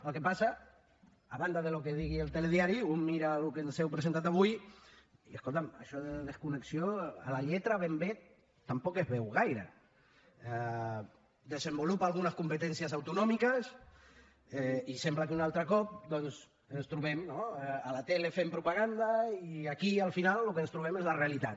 el que passa a banda del que digui el telediari un mira el que ens heu presentat avui i escolta’m això de desconnexió a la lletra ben bé tampoc es veu gaire desenvolupa algunes competències autonòmiques i sembla que un altre cop doncs ens trobem no a la tele fent propaganda i aquí al final el que ens trobem és la realitat